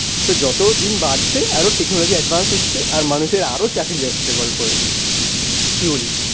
তো যতদিন বাড়ছে আরো টেকনোলজি অ্যাডভান্স হচ্ছে আর মানুষের আরো চাকরি যাচ্ছে, কি বলিস?